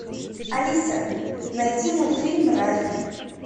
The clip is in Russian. алиса найди мультфильм ральф